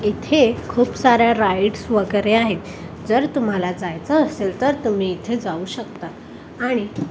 इथे खूप साऱ्या राईड वगैरे आहेत जर तुम्हाला जायचं असेल तर तुम्ही इथे जाऊ शकता आणि--